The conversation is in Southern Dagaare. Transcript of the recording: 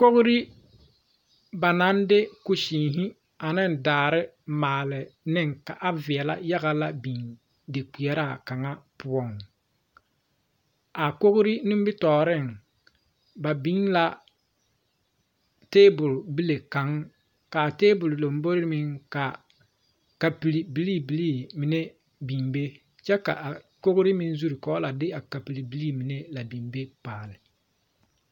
Kori ba naŋ de kusesmɛ ane daare a maale ne ka a veɛlɛ yaga la biŋ de kpeɛraa kaŋa poɔ,a kori nimitɔreŋ, ba biŋ la tabol bile kaŋ kaa tabol lambori meŋ ka kapuri bilii bilii mine biŋ be kyɛ ka kori mine zu ka ba la de a kapuri billi mine la biŋ be paale.